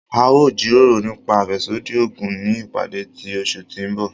A o jiroro nipa afẹsodi oogun ni ipade ti oṣu ti n bọ.